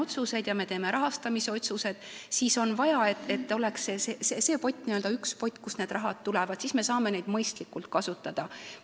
Edasi, kui me teeme rahastamisotsuseid, siis on vaja, et oleks n-ö üks pott, kust see raha tuleb, siis me saame seda mõistlikult kasutada.